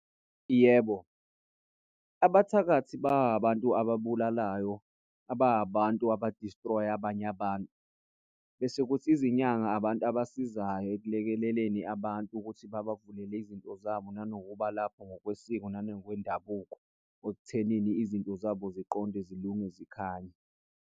Yebo, abathakathi ba abantu ababulalayo ba abantu aba-destroy-a abanye abantu. Bese kuthi izinyanga abantu abasizayo ekulekeleleni abantu ukuthi babavulela izinto zabo. Nanokuba lapho ngokwesiko nangokwendabuko ekuthenini izinto zabo ziqonde, zilunge, zikhanye.